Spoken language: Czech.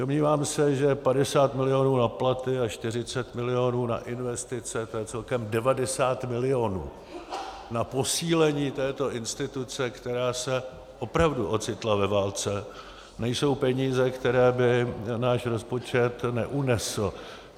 Domnívám se, že 50 milionů na platy a 40 milionů na investice, to je celkem 90 milionů na posílení této instituce, která se opravdu ocitla ve válce, nejsou peníze, které by náš rozpočet neunesl.